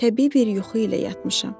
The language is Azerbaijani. Təbii bir yuxu ilə yatmışam.